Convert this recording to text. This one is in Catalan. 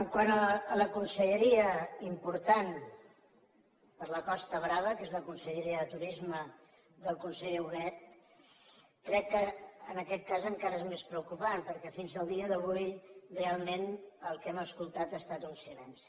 quant a la conselleria important per a la costa brava que és la conselleria de turisme del conseller huguet crec que en aquest cas encara és més preocupant perquè fins al dia d’avui realment el que hem escoltat ha estat un silenci